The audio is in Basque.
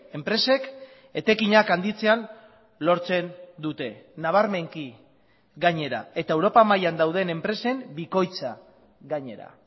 enpresek etekinak handitzean lortzen dute nabarmenki gainera eta europa mailan dauden enpresen bikoitza gainera